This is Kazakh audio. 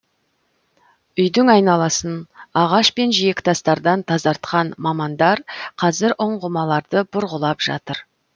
үйдің айналасын ағаш пен жиектастардан тазартқан мамандар қазір ұңғымаларды бұрғылап жатыр